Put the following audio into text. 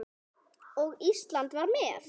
Og Ísland var með.